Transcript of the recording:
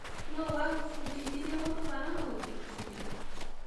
Nũ wagũbũndĩthĩrĩe gũtwara mũĩthĩkĩrĩ?